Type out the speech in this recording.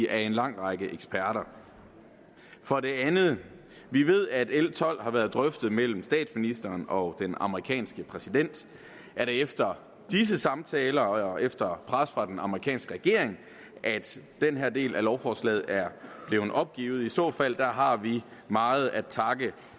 af en lang række eksperter for det andet vi ved at l tolv har været drøftet mellem statsministeren og den amerikanske præsident er det efter disse samtaler og efter pres fra den amerikanske regering at den her del af lovforslaget er blevet opgivet i så fald har vi meget at takke